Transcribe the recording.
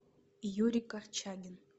юрий корчагин